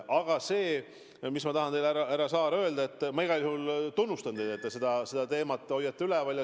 Aga ma tahan teile, härra Saar, öelda, et ma igal juhul tunnustan teid, et te seda teemat üleval hoiate.